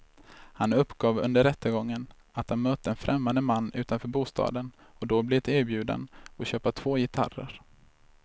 Han uppgav under rättegången att han mött en främmande man utanför bostaden och då blivit erbjuden att köpa två gitarrer.